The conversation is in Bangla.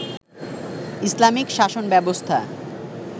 ইসলামিক শাসন ব্যবস্থা